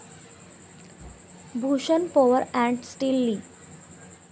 Bhushan power and steel लि.